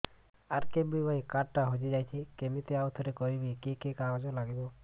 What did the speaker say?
RKBY card ଟା ହଜିଯାଇଛି କିମିତି ଆଉଥରେ କରିବି କି କି କାଗଜ ଲାଗିବ